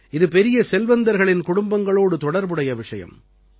இது பெரிய செல்வந்தர்களின் குடும்பங்களோடு தொடர்புடைய விஷயம்